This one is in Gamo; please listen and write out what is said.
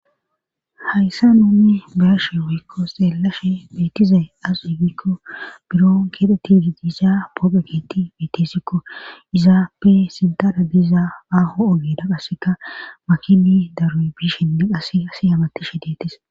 Hayssa nunne beyashe woykko xeellashshe beetizaye aze giikko biron keedetidi dizaa poopeketi beetesikko izaappe sintada diizaa aaho ogeda qasseka makini daroy biishenne qase assay hamutishshe deetes